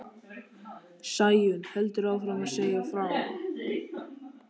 Sæunn heldur áfram að segja frá.